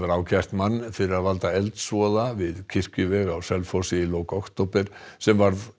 ákært mann fyrir að valda eldsvoða við kirkjuveg á Selfossi í lok október sem varð